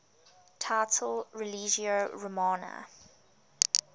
title religio romana